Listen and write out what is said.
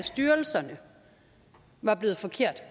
styrelserne var blevet forkert